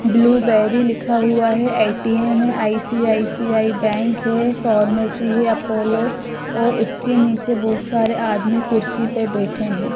Blueberry लिखा हुआ है ए_टी_एम है आई_सी_आई_सी_आई बैंक है फार्मेसी है अपोलो और उसके नीचे बहोत सारे आदमी कुर्सी पे बैठे हैं।